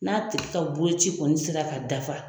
N'a tigi ka boloci kɔni sera ka dafa.